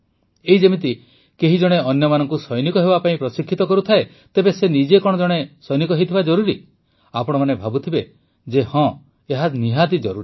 ଏଇ ଯେମିତିକି କେହି ଜଣେ ଅନ୍ୟମାନଙ୍କୁ ସୈନିକ ହେବା ପାଇଁ ପ୍ରଶିକ୍ଷିତ କରୁଥାଏ ତେବେ ସେ ନିଜେ କଣ ଜଣେ ସୈନିକ ହୋଇଥିବା ଜରୁରୀ କି ଆପଣମାନେ ଭାବୁଥିବେ ଯେ ହଁ ଏହା ଜରୁରୀ